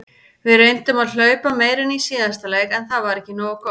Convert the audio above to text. Við reyndum að hlaupa meira en í síðasta leik en það var ekki nógu gott.